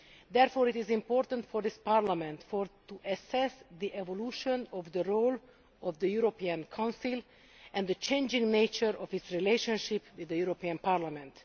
Therefore, it is important for this Parliament to assess the evolution of the role of the European Council and the changing nature of its relationship with the European Parliament.